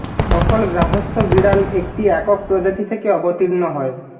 সকল গার্হস্থ্য বিড়াল একটি একক প্রজাতি থেকে অবতীর্ণ হয়